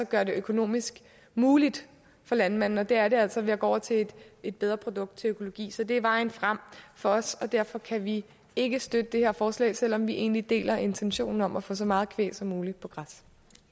gøre det økonomisk muligt for landmændene det er det altså ved at gå over til et bedre produkt til økologi så det er vejen frem for os derfor kan vi ikke støtte det her forslag selv om vi egentlig deler intentionen om at få så meget kvæg som muligt på græs